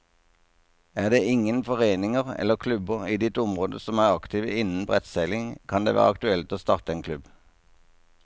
Er det ingen foreninger eller klubber i ditt område som er aktive innen brettseiling, kan det være aktuelt å starte en klubb.